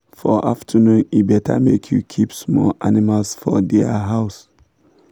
for afternoon e better make you keep small animals for dia house